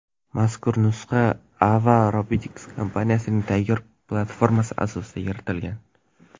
Mazkur nusxa Ava Robotics kompaniyasining tayyor platformasi asosida yaratilgan.